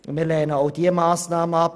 Wir lehnen auch diese Massnahme ab.